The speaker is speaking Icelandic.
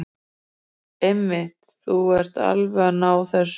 Einmitt, þú ert alveg að ná þessu.